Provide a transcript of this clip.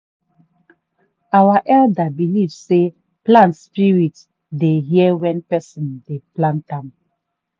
our elders believe sey plant spirit dey hear when person dey plant am.